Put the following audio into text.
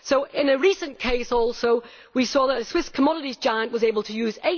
In a recent case we also saw that a Swiss commodities giant was able to use